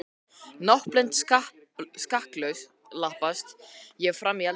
Náttblind skakklappast ég fram í eldhús.